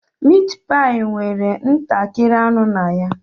Meatpie nwere ntakịrị anụ na ya.